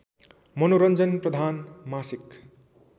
मनोरञ्जन प्रधान मासिक